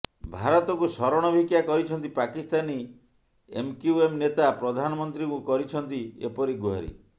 ଭାରତକୁ ଶରଣ ଭିକ୍ଷା କରିଛନ୍ତି ପାକିସ୍ତାନୀ ଏମକ୍ୟୁଏମ ନେତା ପ୍ରଧାନମନ୍ତ୍ରୀଙ୍କୁ କରିଛନ୍ତି ଏପରି ଗୁହାରୀ